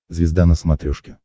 звезда на смотрешке